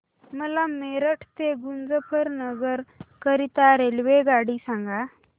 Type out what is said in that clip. मला मेरठ ते मुजफ्फरनगर करीता रेल्वेगाडी सांगा